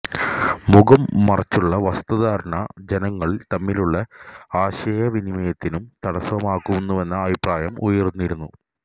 മുഖം മറച്ചുള്ള വസ്ത്രധാരണ ജനങ്ങള് തമ്മിലുള്ള ആശയവിനിമയത്തിനും തടസ്സമാകുന്നുവെന്ന അഭിപ്രായവും ഉയര്ന്നിരുന്നു